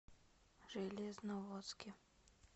железноводске